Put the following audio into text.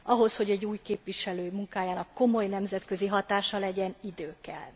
Ahhoz, hogy egy új képviselő munkájának komoly nemzetközi hatása legyen, idő kell.